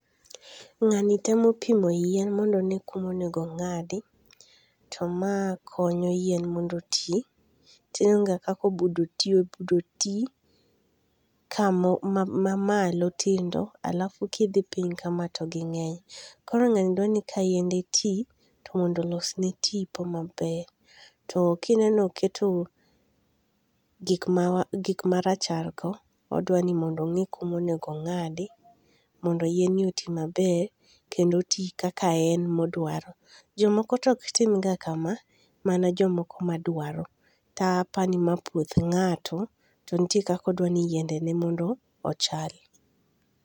Ng'ani temo pimo yien mondo one kumonego ong'adi, to ma konyo yien mondo ti. Tineno ga kakobudo ti obudo ti, ka mo ma malo tindo alafu kidhi piny kama to ging'eny. Koro ng'ani dwani ka yiende ti to mondo olos ne tipo maber. To kineno oketo gik ma wa gik marachar go, odwani mondo ong'e kumonego ong'adi, mondo yien ni oti maber. Kendo oti kaka en modwaro. Jomoko tok timga kama, mana jomoko ma dwaro. Ta apani ma puoth ng'ato, to ntie kakodwa ni yiende ne mondo ochal.